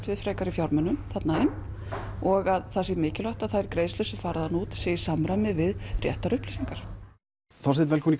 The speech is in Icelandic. við fjármunum þarna inn og það sé mikilvægt að greiðslur sem fara þar út séu í samræmi við réttar upplýsingar Þorsteinn velkominn